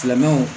Filɛnenw